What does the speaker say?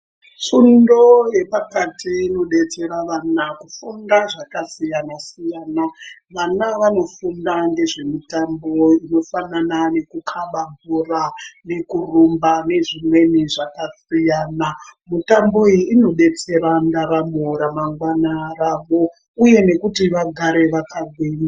Fundo yepakati inobetsera vana kufunda zvakasiyana-siyana. Vana vanofunda ngezvemitambo inofanana nekukaba bhora nekurumba nezvimweni zvakasiyana. Mutambo iyi inobetsera ndaramo ramangwana ravo, uye nekuti vagare vakagwinya.